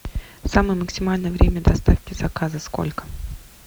самое максимальное время доставки заказа сколько